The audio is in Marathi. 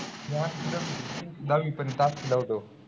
दहावीपर्यंत ला होतो.